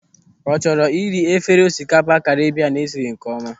Ọ chọrọ ịri efere osikapa Karibian esiri nkeọma?